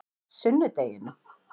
sunnudeginum